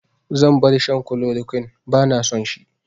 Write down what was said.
Zan bar shan kulorokwin, ba na son shi